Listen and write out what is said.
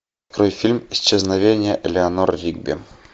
открой фильм исчезновение элеанор ригби